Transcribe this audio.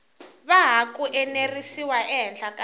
hava ku enerisiwa ehenhla ka